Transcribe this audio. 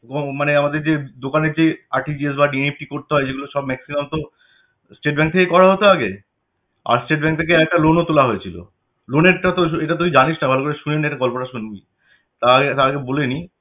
মানে আমাদের যে দোকানের যে RTGS বা NEFT করতে হয় যেগুলো সব maximum তো state bank এ থেকে করা হতো আগে আর state bank এ থেকে আরেকটা loan ও তোলা হয়েছিল loan এরটা তো এটা তুই জানিস্ না ভালো করে শুনে নে গল্পটা শুনবি তাহলে তার আগে বলে নি